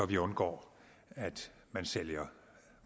vi undgår at man sælger